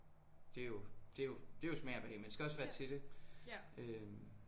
Det er jo det jo det er jo smag og behag man skal også være til det øh